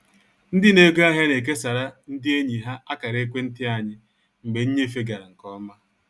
Ndị n'ego ahịa na-ekesara ndị enyi ha akara ekwenti anyị mgbe nnyefe gara nke ọma